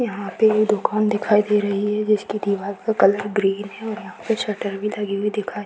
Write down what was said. यहाँ पे ये दुकान दिखाई दे रही है जिसके दीवार का कलर ग्रीन है और यहाँ पे शटर भी लगी हुई दिखाइ --